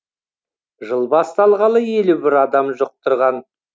жыл басталғалы елу бір адам жұқтырған